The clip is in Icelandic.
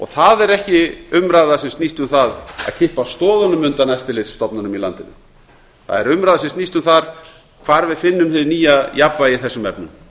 það er ekki umræða sem snýst um það að kippa stoðunum undan eftirlitsstofnunum í landinu það er umræða sem snýst um það hvar við finnum hið nýja jafnvægi í þessum efnum